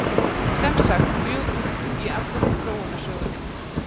sem sagt mjög ung í allri þróunarsögunni